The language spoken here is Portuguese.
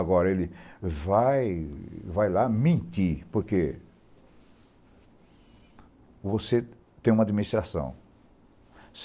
Agora ele vai, ele vai lá mentir, porque você tem uma administração.